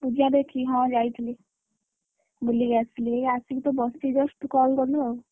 ପୂଜା ଦେଖିକି ହଁ ଯାଇଥିଲି, ବୁଲିକି ଆସିଲି ଏଇ ଆସିକି ବସଛି just ତୁ କଲ କଲୁ ଆଉ।